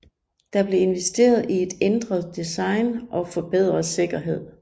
Der blev investeret i et ændret design og forbedret sikkerhed